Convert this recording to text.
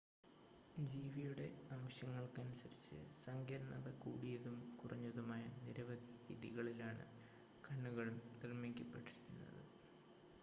ജീവിയുടെ ആവശ്യങ്ങൾക്കനുസരിച്ച് സങ്കീർണ്ണത കൂടിയതും കുറഞ്ഞതുമായ നിരവധി രീതികളിലാണ് കണ്ണുകൾ നിർമ്മിക്കപ്പെട്ടിരിക്കുന്നത്